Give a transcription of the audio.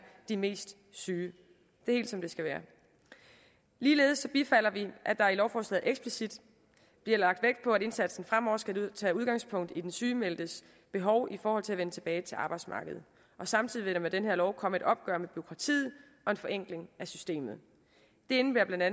de mest syge det er helt som det skal være ligeledes bifalder vi at der i lovforslaget eksplicit bliver lagt vægt på at indsatsen fremover skal tage udgangspunkt i den sygemeldtes behov i forhold til at vende tilbage til arbejdsmarkedet samtidig vil der med den her lov komme et opgør med bureaukratiet og en forenkling af systemet det indebærer bla